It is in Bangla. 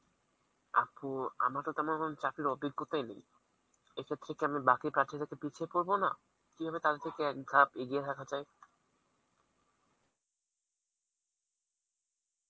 আপু আমার তো তেমন কোন চাকরির অভিজ্ঞতাই নেই, এক্ষেত্রে কি আমি বাকি থেকে পিছিয়ে পড়বো না, কিভাবে তাদের থেকে এক ধাপ এগিয়ে থাকা যায়